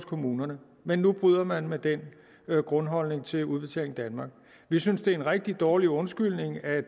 kommunerne men nu bryder man med den grundholdning til udbetaling danmark vi synes det er en rigtig dårlig undskyldning at